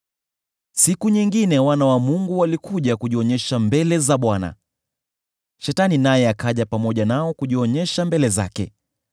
Siku nyingine wana wa Mungu walikuja kujionyesha mbele za Bwana . Shetani naye akaja pamoja nao kujionyesha mbele zake.